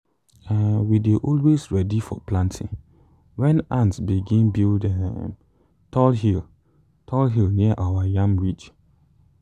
um we dey always ready for planting when ants begin build um tall hill tall hill near our yam ridge.